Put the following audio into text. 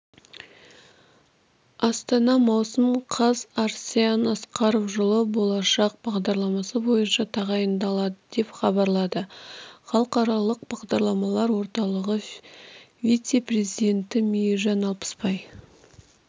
астана маусым қаз арсен асқаров жылы болашақ бағдарламасы бойынша тағайындалады деп хабарлады халықаралық бағдарламалар орталығы вице-президенті мейіржан алпысбай